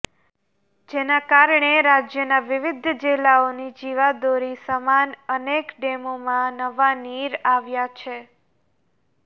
જેના કારણે રાજયના વિવિધ જિલ્લાઓની જીવાદોરી સમાન અનેક ડેમોમાં નવા નીર આવ્યા છે